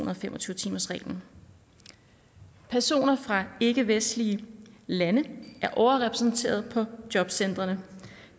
og fem og tyve timersreglen personer fra ikkevestlige lande er overrepræsenteret på jobcentrene